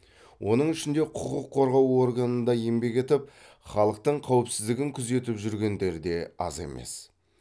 оның ішінде құқық қорғау органында еңбек етіп халықтың қауіпсіздігін күзетіп жүргендер де аз емес